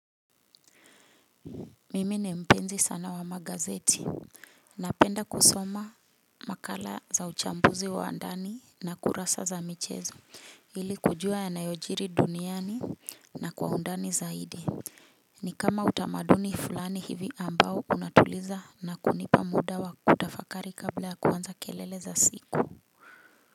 Mimi ni mpenzi sana wa magazeti, napenda kusoma makala za uchambuzi wa andani na kurasa za michezo hili kujua ya nayojiri duniani na kwa undani zaidi. Ni kama utamaduni fulani hivi ambao unatuliza na kunipa muda wa kutafakari kabla ya kuanza kelele za siku.